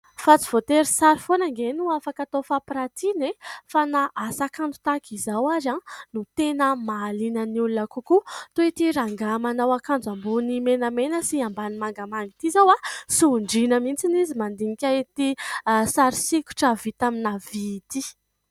Fa tsy voatery sary foana anie no afaka atao fampiratiana e ! Fa na asa kanto tahaka izao ary no tena mahaliana ny olona kokoa. Toy ity rangahy manao akanjo ambony menamena sy ambany mangamanga ity izao, sondriana mihitsy izy mandinika ity sary sokitra vita amin'ny vy ity.